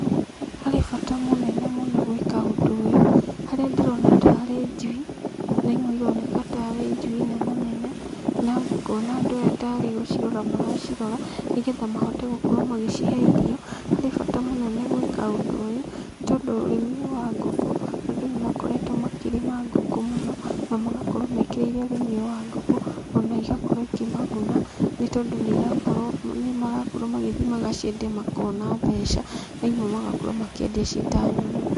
Harĩ bata mũnene mũno gwĩka ũndũ ũyũ harĩa ndĩrona tarĩ njui na imwe ndĩrona tarĩ njui nena nene. Na ngona andũ aya tarĩ gũcirora maracirora, nĩ getha mahote gũkorwo magĩcihe irio. Nĩ harĩ bata mũnene gwĩka ũndũ ũyũ nĩ tondũ ũrĩmi wa ngũkũ andũ nĩ makoretwo makĩrĩma ngũkũ mũno na magakorwo mekĩrĩire ũrĩmi ũyũ wa ngũkũ. Ona igakorwo ikĩmaguna nĩ tondũ nĩ marakorwo magĩthiĩ magaciendia makona mbeca na imwe magakorwo makĩendia ciĩ ta nyama.